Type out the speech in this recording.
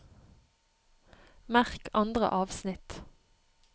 Merk andre avsnitt